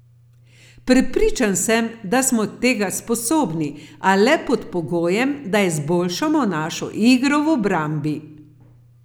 Prepričan sem, da smo tega sposobni, a le pod pogojem, da izboljšamo našo igro v obrambi.